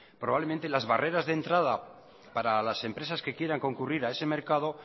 probablemente las barreras de entrada para las empresas que quieran concurrir a ese mercado